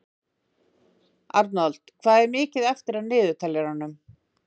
Arnold, hvað er mikið eftir af niðurteljaranum?